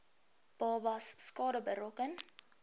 babas skade berokken